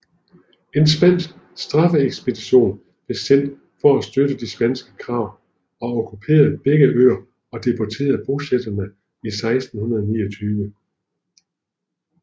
En spansk straffeekspedition blev sendt for at støtte de spanske krav og okkuperede begge øer og deporterede bosætterne i 1629